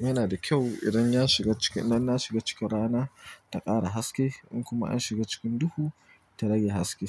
yana da kyau idan ya shiga ciki, idan na shiga cikin rana ta ƙara haske in kuma an shiga cikin duhu ta rage haske.